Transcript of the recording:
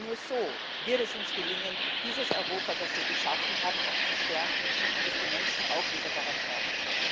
Denn nur so wird es uns gelingen, dieses Europa, das wir geschaffen haben, auch zu stärken und dass die Menschen auch wieder daran glauben.